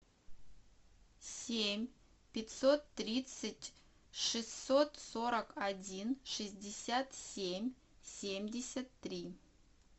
семь пятьсот тридцать шестьсот сорок один шестьдесят семь семьдесят три